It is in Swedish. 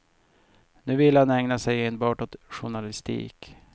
Nu vill han ägna sig enbart åt journalistik.